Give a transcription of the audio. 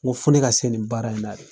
Ko fo ne ka se nin baara in la de.